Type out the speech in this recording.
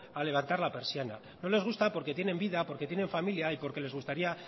a levantar la persiana no les gusta porque tienen vida porque tienen familia y porque les gustaría